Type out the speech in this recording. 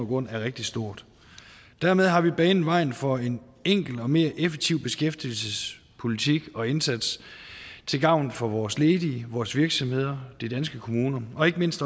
grund er rigtig stort dermed har vi banet vejen for en enkel og mere effektiv beskæftigelsespolitik og indsats til gavn for vores ledige vores virksomheder de danske kommuner og ikke mindst